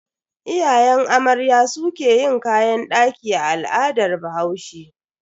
Iyayen amarya su ke yin kayan daki a al'adar bahaushe.